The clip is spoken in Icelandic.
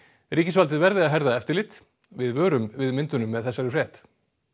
ríkisvaldið verði að herða eftirlit við vörum við myndunum með þessari frétt